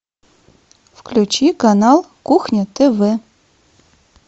включи канал кухня тв